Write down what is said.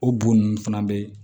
O bon nunnu fana be